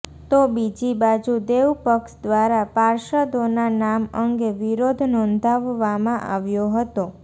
તો બીજી બાજુ દેવ પક્ષ દ્વારા પાર્ષદોના નામ અંગે વિરોધ નોંધાવવામાં આવ્યો હતો